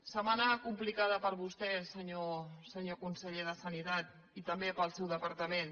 setmana complicada per a vostè senyor conseller de sanitat i també per al seu departament